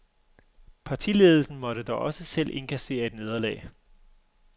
Partiledelsen måtte dog også selv indkassere et nederlag.